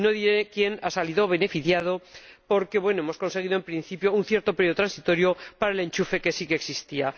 No diré quién ha salido beneficiado porque hemos conseguido, en principio, un cierto período transitorio para el enchufe que sí existía.